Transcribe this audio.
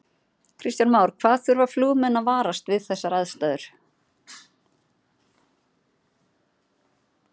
Kristján Már: Hvað þurfa flugmenn að varast við þessar aðstæður?